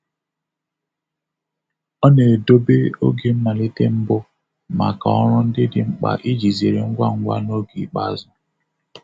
Ọ na-edobe oge mmalite mbụ maka ọrụ ndị dị mkpa iji zere ngwa ngwa n'oge ikpeazụ.